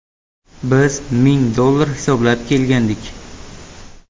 Biz ming dollar hisoblab kelgandik.